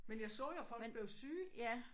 Men jeg så jo at folk blev syge